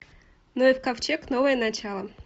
ноев ковчег новое начало